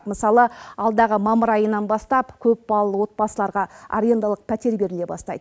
мысалы алдағы мамыр айынан бастап көпбалалы отбасыларға арендалық пәтер беріле бастайды